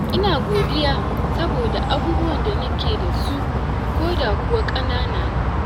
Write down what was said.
Ina godiya saboda abubuwan da nake da su, koda kuwa ƙanana ne.